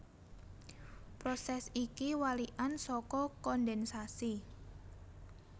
Prosès iki walikan saka kondhènsasi